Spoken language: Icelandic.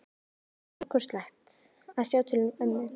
Það var stórkostlegt að sjá til ömmu.